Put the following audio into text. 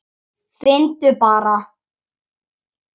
Finndu bara!